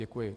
Děkuji.